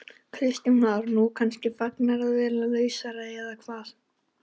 Kristján Már: Nú, kannski fegnar að vera lausar eða hvað?